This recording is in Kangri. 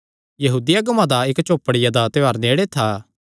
यहूदी अगुआं दा इक्क झोपड़ियां दा त्योहार नेड़े था